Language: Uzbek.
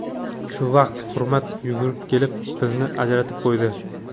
Shu vaqt Hurmat yugurib kelib, bizni ajratib qo‘ydi.